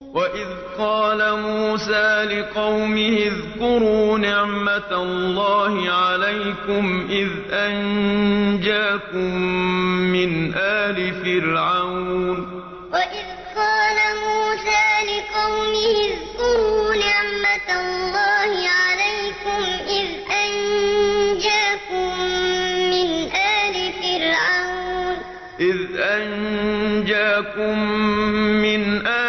وَإِذْ قَالَ مُوسَىٰ لِقَوْمِهِ اذْكُرُوا نِعْمَةَ اللَّهِ عَلَيْكُمْ إِذْ أَنجَاكُم مِّنْ آلِ